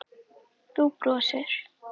Þú brosir.